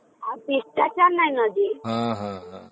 ଆଉ ଶିଷ୍ଟାଚାର କିଛି ନାହିଁ